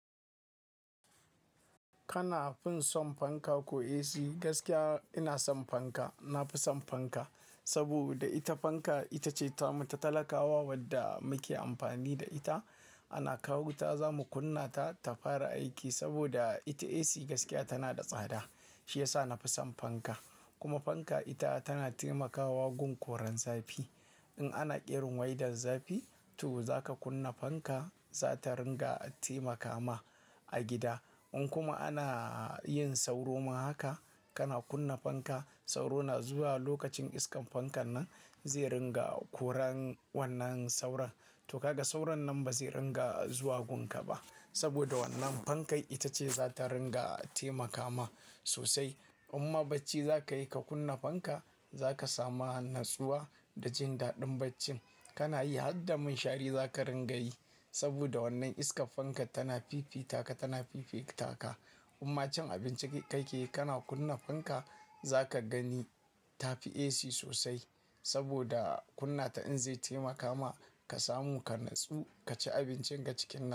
Kana fin son fanka ko AC? Gaskiya ina son fanka. Na fi son fanka, saboda ita fanka ita ce ta mata talakawa wadda muke amfani da ita. Ana kawo wuta za mu kunna ta, ta fara aiki. Saboda ita AC gaskiya tana da tsada, shi ya sa na fi son fanka. Kuma fanka ita tana taimakawa gun Koran zafi. In ana ƙirin waidar zafi, to zaka kunna fanka, za ta ringa taimaka ma a gida. In kuma ana yin sauro ma haka, kana kunna fanka sauro na zuwa lokacin iskan fankan nan zai ringa koran wannan sauron. To, ka ga sauron nan ba zai ringa zuwa gun ka ba. Saboda wannan fanka ita ce zata ringa taimakama sosai. In ma barci zaka yi ka kuna fanka zaka samu annasuwa da jindadin barci. Kana yi harda munshari za ka ringa yi. Saboda wannan iskar fanka tana fifita ka, tana fifita ka. Amma cin abinci kai ka ke yi, kana kunna fanka za ka gani ta fi AC sosai. Saboda kunna ta in zai taimaka ma ka samu ka natsu, ka ci abincin ka cikin na.